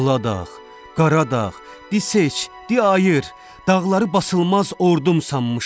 Aladağ, Qaradağ, dis ç, diy ayır, dağları basılmaz ordum sanmışam.